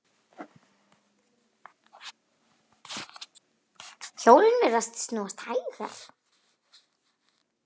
Hjólin virðast snúast hægar.